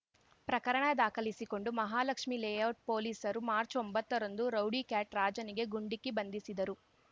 ಪ್ರಕರಣ ದಾಖಲಿಸಿಕೊಂಡು ಮಹಾಲಕ್ಷ್ಮಿ ಲೇಔಟ್ ಪೊಲೀಸರು ಮಾರ್ಚ್ ಒಂಬತ್ತ ರಂದು ರೌಡಿ ಕ್ಯಾಟ್ ರಾಜನಿಗೆ ಗುಂಡಿಕ್ಕಿ ಬಂಧಿಸಿದ್ದರು